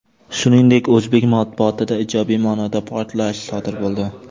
Shuningdek, o‘zbek matbuotida ijobiy ma’noda portlash sodir bo‘ldi.